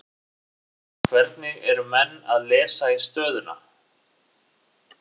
Hvernig eru menn að lesa í stöðuna?